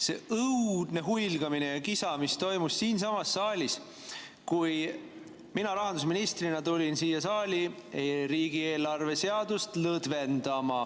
see õudne huilgamine ja kisa, mis toimus siinsamas saalis, kui mina rahandusministrina tulin siia saali riigieelarve seadust lõdvendama.